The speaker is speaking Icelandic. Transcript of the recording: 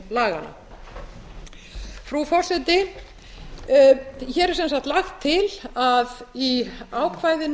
laganna frú forseti hér er sem sagt lagt til að í ákvæðinu